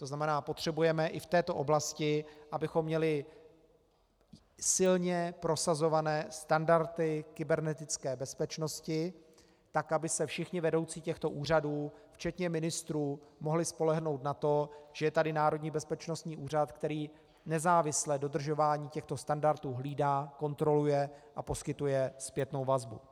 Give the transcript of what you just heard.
To znamená, potřebujeme i v této oblasti, abychom měli silně prosazované standardy kybernetické bezpečnosti, tak aby se všichni vedoucí těchto úřadů včetně ministrů mohli spolehnout na to, že je tady Národní bezpečnostní úřad, který nezávisle dodržování těchto standardů hlídá, kontroluje a poskytuje zpětnou vazbu.